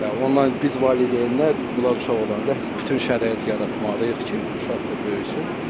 Ondan biz valideynlər bunlar uşaq olanda bütün şərait yaratmalıyıq ki, uşaq da böyüsün.